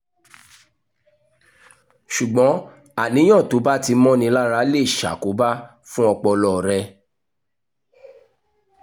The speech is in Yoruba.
ṣùgbọ́n àníyàn tó bá ti mọ́ni lára lè ṣàkóbá fún ọpọlọ rẹ